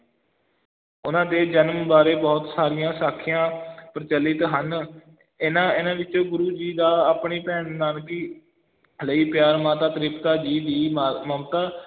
ਉਹਨਾਂ ਦੇ ਜਨਮ ਬਾਰੇ ਬਹੁਤ ਸਾਰੀਆਂ ਸਾਖੀਆਂ ਪ੍ਰਚਲਿਤ ਹਨ, ਇਹਨਾਂ ਇਹਨਾਂ ਵਿੱਚ ਗੁਰੂ ਜੀ ਦਾ ਆਪਣੀ ਭੈਣ ਨਾਨਕੀ ਲਈ ਪਿਆਰ, ਮਾਤਾ ਤ੍ਰਿਪਤਾ ਜੀ ਦੀ ਮ~ ਮਮਤਾ,